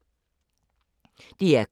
DR K